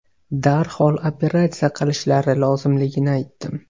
Darhol operatsiya qilishlari lozimligini aytdim.